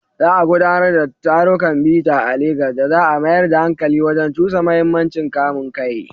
Za a gudanar da tarukan bita a Legas da za a mayar da hankali wajen cusa muhimmancin kamun kai.